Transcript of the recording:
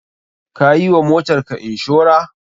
Ka yi wa motarka inshora?